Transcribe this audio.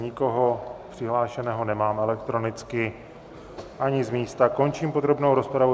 Nikoho přihlášeného nemám elektronicky ani z místa, končím podrobnou rozpravu.